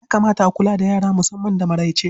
Ya kamata a kula da yara musamman da maraice.